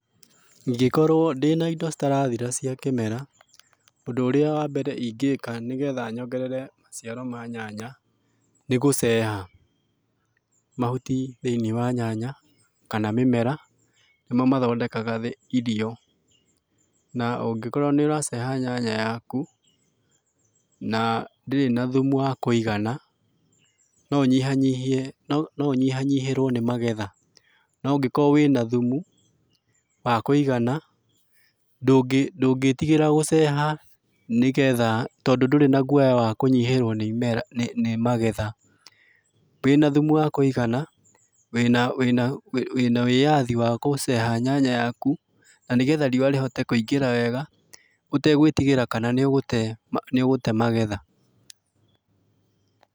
Ingĩkorwo ndĩnaido citarathira cia kĩmera, ũndũ ũria wa mbere ingĩka nĩgetha nyongerere maciaro ma nyanya, nĩ gũceha, mahuti thĩĩniĩ wa nyanya kana mĩmera nĩmo mathondekaga thĩ ĩrio, na ũngĩkorwo nĩ ũraceha nyanya yaku na ndĩrĩ na thumu wa kũigana, no ũnyihanyihie, no ũnyihanyihĩrwo nĩmagetha, noũngĩkorwo wĩnathumu wa kwĩigana, ndũngĩ ,ndũngĩtigĩra gũceha nĩgetha tondũ ndũrĩ na gwoya wa kũnyihĩrwo nĩ imera, nĩ nĩ magetha, wĩnathumu wakũigana wĩna, wĩna, wina wĩyathi wagũceha nyanya yaku na nĩgetha riũa rĩhote kũingĩra wega ũtegwĩtigĩra kana nĩũgũte nĩũgũte magetha.